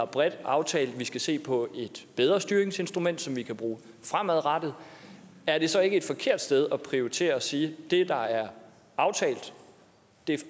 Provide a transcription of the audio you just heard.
bredt har aftalt at vi skal se på et bedre styringsinstrument som vi kan bruge fremadrettet er det så ikke et forkert sted at prioritere og sige at det der er aftalt